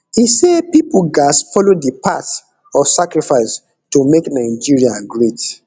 e say pipo gatz follow di path of sacrifice to make nigeria great